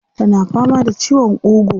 Tana fama da ciwon ƙugu.